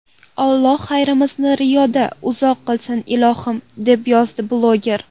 Alloh xayriyamizni riyodan uzoq qilsin, ilohim”, deb yozadi bloger.